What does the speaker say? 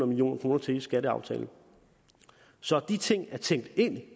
million kroner til i skatteaftalen så de ting er tænkt ind